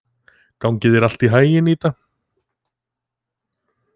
Gangi þér allt í haginn, Ída.